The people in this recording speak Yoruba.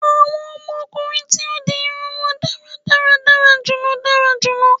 Awọn ọmọkunrin tí ó di irun won dáradára dara julọ dara julọ